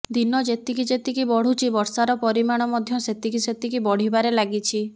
ଦିନ ଯେତିକି ଯେତିକି ବଢୁଛି ବର୍ଷାର ପରିମାଣ ମଧ୍ୟ ସେତିକି ସେତିକି ବଢିବାରେ ଲାଗିଛି